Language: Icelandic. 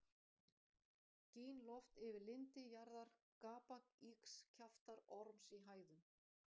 Gín loft yfir lindi jarðar, gapa ýgs kjaftar orms í hæðum.